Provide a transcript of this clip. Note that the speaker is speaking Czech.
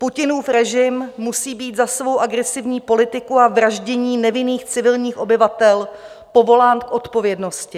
Putinův režim musí být za svou agresivní politiku a vraždění nevinných civilních obyvatel povolán k odpovědnosti.